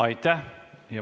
Aitäh!